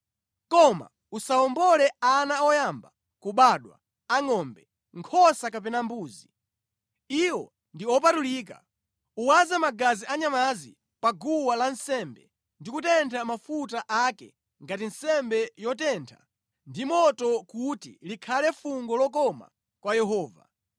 “Koma usawombole ana oyamba kubadwa a ngʼombe, nkhosa kapena mbuzi. Iwo ndi opatulika. Uwaze magazi a nyamazi pa guwa lansembe ndi kutentha mafuta ake ngati nsembe yotentha ndi moto kuti likhale fungo lokoma kwa Yehova.